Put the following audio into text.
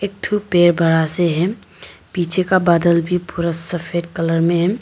एक थो पेड़ बड़ा से है पीछे का बदला भी पूरा सफेद कलर में है।